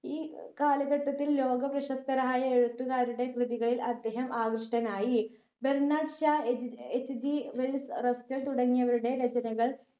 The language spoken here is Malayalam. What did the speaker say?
ഈ കാലഘട്ടത്തിൽ ലോക പ്രശസ്തരായ എഴുത്തുകാരുടെ കൃതികളിൽ അദ്ദേഹം ആകൃഷ്ഠനായി ബർണാഡ് ഷാ എച് ഏർ HG വെൽസ് റസ്റ്റട് തുടങ്ങിയവരുടെ രചനകൾ